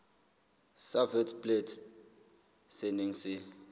sa witblits se neng se